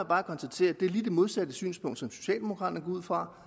bare konstatere at det er lige det modsatte synspunkt som socialdemokraterne går ud fra